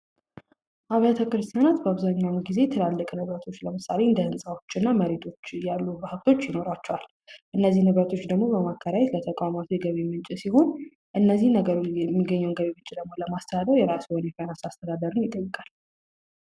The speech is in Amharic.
አብያተ ክርስቲያናት አብዛኛውን ጊዜ ትላልቅ ሀብቶች ለምሳሌ እንደ ህንፃዎች እና መሬቶች ያሉ ንብረቶች ይኖሯቸዋል። እነዚህ ንብረቶች በማከራየት የተቋማቱ የገቢ ምንጭ ሲሆን እነዚህን ነነገሮች የገቢ ምንጭ ደግሞ ለማስተዳደር የራሱን የሆነ አስተዳደር ይጠይቃል።